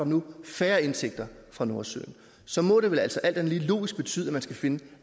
nu færre indtægter fra nordsøen så må det altså alt andet lige logisk betyde at man skal finde